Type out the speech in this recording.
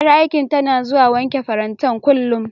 Ƴar aikin tana zuwa wanke farantan, kullum.